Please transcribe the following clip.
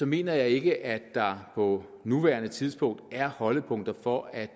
mener jeg ikke at der på nuværende tidspunkt er holdepunkter for at